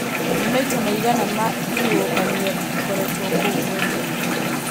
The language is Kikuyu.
nĩ maita maigana ma ihuhũkanio ĩkoretwo kuo mweri ũyũ